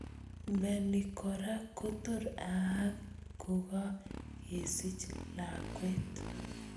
Mioni koraa kotor aak kokakesich lakwet.